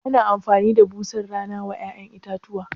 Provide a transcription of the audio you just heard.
Ana amfani da busar rana wa ya'yan itatuwa?